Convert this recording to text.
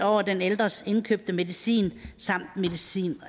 over den ældres indkøbte medicin medicin